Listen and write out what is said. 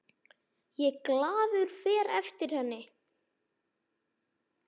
Ég glaður fer eftir henni.